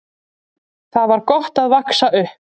Þar var gott að vaxa upp.